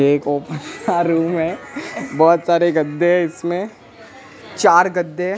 एक open room हैं बहुत सारे गद्दे हैं इसमें चार गद्दे हैं।